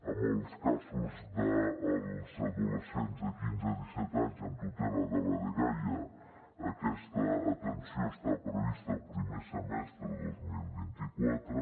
en els casos dels adolescents de quinze a disset anys amb tutela de la dgaia aquesta atenció està prevista el primer semestre de dos mil vint quatre